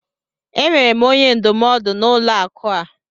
Enwere m onye ndụmọdụ n'ụlọ akụ a.